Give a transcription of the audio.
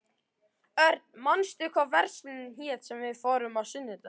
Örn, manstu hvað verslunin hét sem við fórum í á sunnudaginn?